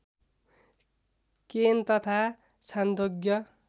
केन तथा छान्दोग्य